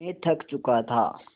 मैं थक चुका था